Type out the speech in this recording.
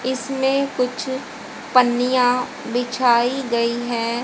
इसमें कुछ पन्नियां बिछाई गई है।